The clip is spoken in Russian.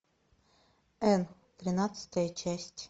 энн тринадцатая часть